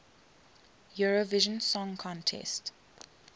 eurovision song contest